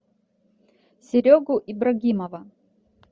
серегу ибрагимова